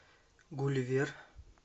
гулливер